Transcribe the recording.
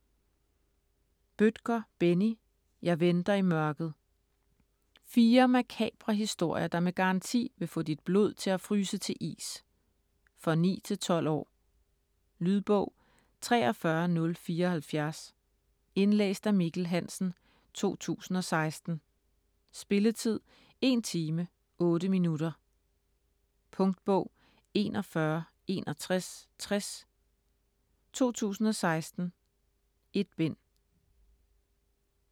Bødker, Benni: Jeg venter i mørket Fire makabre historier, der med garanti vil få dit blod til at fryse til is. For 9-12 år. Lydbog 43074 Indlæst af Mikkel Hansen, 2016. Spilletid: 1 time, 8 minutter. Punktbog 416160 2016. 1 bind.